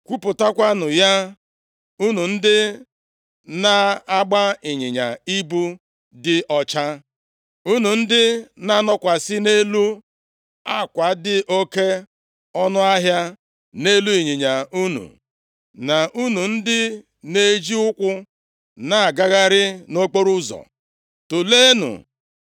“Kwupụtanụ ya, unu ndị na-agba ịnyịnya ibu dị ọcha, unu ndị na-anọkwasị nʼelu akwa dị oke ọnụahịa nʼelu ịnyịnya unu, na unu ndị na-eji ukwu na-agagharị nʼokporoụzọ. Tụleenụ